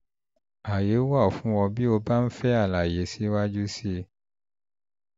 ààyè wà fún ọ bí ó bá ń fẹ́ àlàyé síwájú sí i